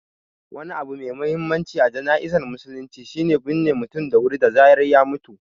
Wani abu mai mahimmanci a jana'izar musulunci shi ne binne mutum da wuri da zarar ya mutu.